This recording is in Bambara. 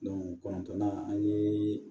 kɔnɔntɔnnan an ye